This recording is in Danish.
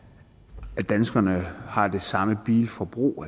danskerne har det samme bilforbrug